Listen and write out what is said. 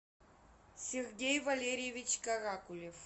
сергей валерьевич каракулев